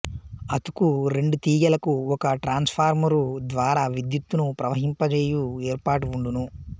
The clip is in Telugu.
అతుకు రెండు తీగెలకు ఒక ట్రాన్సుఫ్రార్మరు ద్వారా విద్యుత్తును ప్రవహింప చేయు ఏర్పాటు వుండును